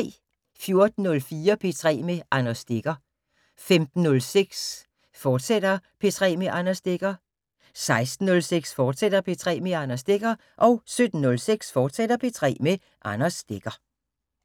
14:04: P3 med Anders Stegger 15:06: P3 med Anders Stegger, fortsat 16:06: P3 med Anders Stegger, fortsat 17:06: P3 med Anders Stegger, fortsat